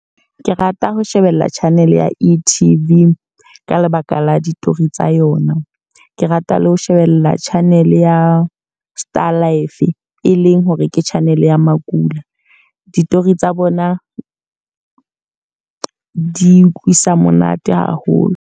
Ke rata ho shebella channel ya E_T_V, ka lebaka la ditori tsa yona. Ke rata le ho shebella channel ya Starlive, e leng hore ke channel ya makula. Ditori tsa bona di utlwisa monate haholo.